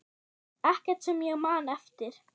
Ekkert sem ég man eftir.